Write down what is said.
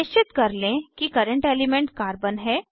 निश्चित कर लें कि करंट एलिमेंट कार्बन है